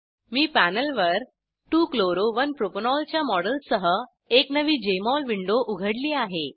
मी पॅनेलवर 2 chloro 1 propanol च्या मॉडेलसह एक नवी जेएमओल विंडो उघडली आहे